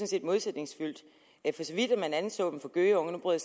set modsætningsfuldt for så vidt at man anser dem for gøgeunger nu bryder